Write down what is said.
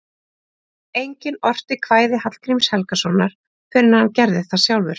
Enginn orti kvæði Hallgríms Helgasonar fyrr en hann gerði það sjálfur.